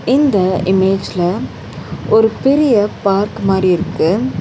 இந்த இமேஜ்ல ஒரு பெரிய பார்க் மாரி இருக்கு.